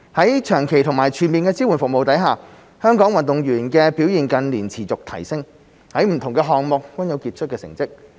在長期及全面的支援服務下，香港運動員的表現近年持續提升，在不同項目均有傑出成績。